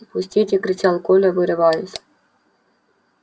пустите кричал коля вырываясь